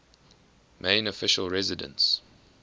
main official residence